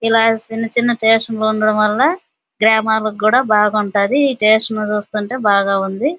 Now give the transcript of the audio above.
ఇలాంటి చిన్న చిన్న స్టేషన్లు ఉండడం వల్ల గ్రామాల్లాకు కూడా బాగా ఉంటాది స్టేషన్లుచూస్తుంటే బాగుంది --